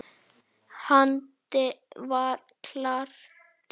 Haddi var krati.